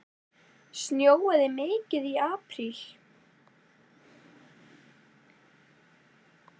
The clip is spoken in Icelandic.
Snjóaði mikið í apríl?